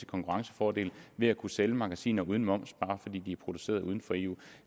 konkurrencefordel ved at kunne sælge magasiner uden moms bare fordi de er produceret uden for eu